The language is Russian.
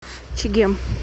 чегем